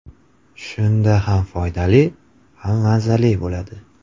Shunda ham foydali, ham mazali bo‘ladi.